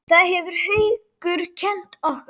Það hefur Haukur kennt okkur.